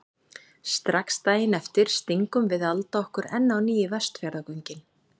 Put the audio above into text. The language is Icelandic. Strax daginn eftir stingum við Alda okkur enn á ný í Vestfjarðagöngin.